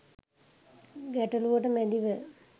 ගැටළුවට මැදිව